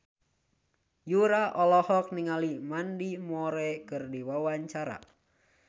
Yura olohok ningali Mandy Moore keur diwawancara